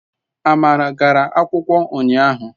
Amara gara akwukwo unyahu